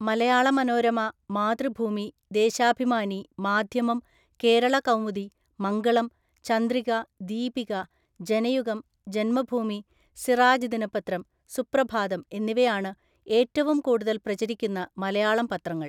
മലയാള മനോരമ, മാതൃഭൂമി, ദേശാഭിമാനി, മാധ്യമം, കേരളകൗമുദി, മംഗളം, ചന്ദ്രിക, ദീപിക, ജനയുഗം, ജന്മഭൂമി, സിറാജ് ദിനപത്രം, സുപ്രഭാതം എന്നിവയാണ് ഏറ്റവും കൂടുതൽ പ്രചരിക്കുന്ന മലയാളം പത്രങ്ങൾ.